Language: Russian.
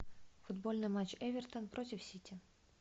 футбольный матч эвертон против сити